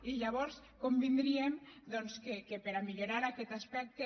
i llavors convindríem doncs que per a millorar aquest aspecte